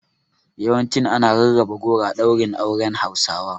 Yawancin ana rarraba goro a ɗaurin auren Hausawa.